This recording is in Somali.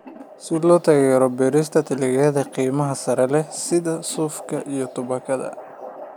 Si loo taageero beerista dalagyada qiimaha sare leh sida suufka iyo tubaakada.